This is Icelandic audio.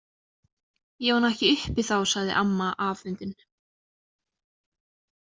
Ég var nú ekki uppi þá, sagði amma afundin.